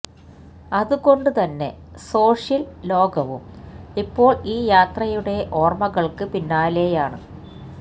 അതുകൊണ്ട് തന്നെ സോഷ്യല് ലോകവും ഇപ്പോള് ഈ യാത്രയുടെ ഓര്മ്മകള്ക്ക് പിന്നാലെയാണ്